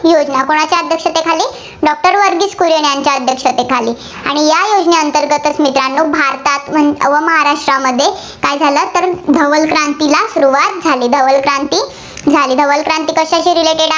ही योजना कुणाच्या अध्यक्षतेखाली doctor व्हर्गिस कुरियन यांच्या अध्यक्षतेखाली आणि या योजनेअंतर्गत मित्रांनो भारतात व महाराष्ट्रामध्ये काय झालं, तर धवल क्रांतीला सुरुवात झाली. धवल क्रांती झाली. धवल क्रांती कशाशी Releated आहे?